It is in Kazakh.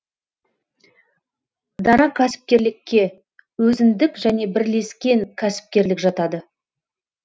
дара кәсіпкерлікке өзіндік және бірлескен кәсіпкерлік жатады